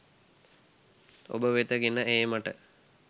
ඔබ වෙත ගෙන ඒමට